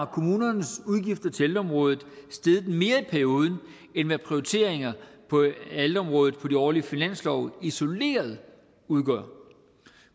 kommunernes udgifter til ældreområdet steget mere i perioden end hvad prioriteringer på ældreområdet på de årlige finanslove isoleret udgør